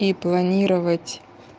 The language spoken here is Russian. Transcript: и планировать